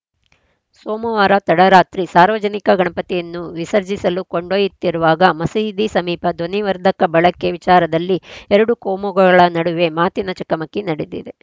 ಸೋಮವಾರ ತಡರಾತ್ರಿ ಸಾರ್ವಜನಿಕ ಗಣಪತಿಯನ್ನು ವಿಸರ್ಜಿಸಲು ಕೊಂಡೊಯ್ಯುತ್ತಿರುವಾಗ ಮಸೀದಿ ಸಮೀಪ ಧ್ವನಿವರ್ಧಕ ಬಳಕೆ ವಿಚಾರದಲ್ಲಿ ಎರಡು ಕೋಮುಗಳ ನಡುವೆ ಮಾತಿನ ಚಕಮಕಿ ನಡೆದಿದೆ